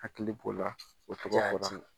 Hakili k'o la o tɔgɔya